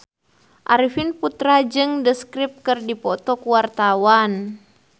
Arifin Putra jeung The Script keur dipoto ku wartawan